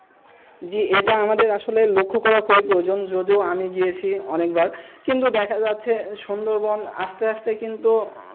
জি এটা আমাদের আসলের লক্ষ করা প্রয়োজন যদিও আমি গিয়েছি অনেকবার কিন্তু দেখা যাচ্ছে সুন্দরবন আস্তে আস্তে কিন্তু,